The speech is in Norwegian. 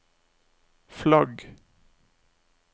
flagg